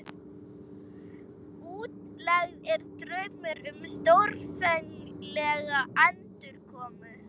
Útlegð er draumur um stórfenglega endurkomu.